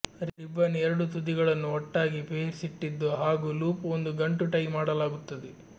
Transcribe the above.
ribbon ಎರಡೂ ತುದಿಗಳನ್ನು ಒಟ್ಟಾಗಿ ಪೇರಿಸಿಟ್ಟಿದ್ದು ಹಾಗೂ ಲೂಪ್ ಒಂದು ಗಂಟು ಟೈ ಮಾಡಲಾಗುತ್ತದೆ